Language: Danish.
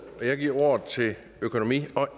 og jeg giver ordet til økonomi og